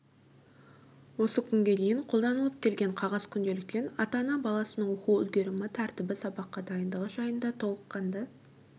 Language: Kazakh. осы күнге дейін қолданылып келген қағаз күнделіктен ата-ана баласының оқу үлгерімі тәртібі сабаққа дайындығы жайында толыққанды